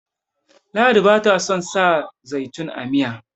ladi ba ta son sa zaitun a Miya